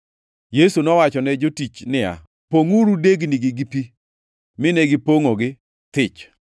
Yesu nowachone jotich niya, “Pongʼuru degnigi gi pi”; mine gipongʼogi thich.